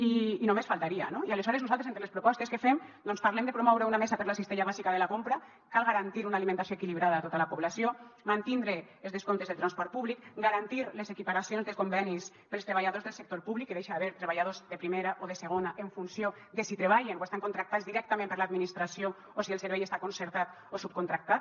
i només faltaria no i aleshores nosaltres entre les propostes que fem doncs parlem de promoure una mesa per a la cistella bàsica de la compra cal garantir una alimentació equilibrada a tota la població mantindre els descomptes del transport públic garantir les equiparacions de convenis per als treballadors del sector públic que deixe d’haver treballadors de primera o de segona en funció de si treballen o estan contractats directament per l’administració o si el servei està concertat o subcontractat